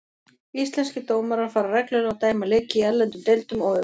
Íslenskir dómarar fara reglulega og dæma leiki í erlendum deildum og öfugt.